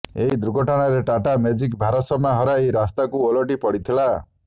ଏହି ଦୁର୍ଘଟଣାରେ ଟାଟା ମେଜିକ୍ ଭାରସାମ୍ୟ ହରାଇ ରାସ୍ତାକୁ ଓଲଟି ପଡ଼ିଥିଲା